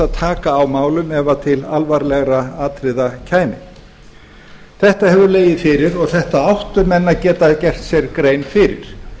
að taka á málum ef til alvarlegra atriða kæmi þetta hefur legið fyrir og þetta áttu menn að geta gert sér grein fyrir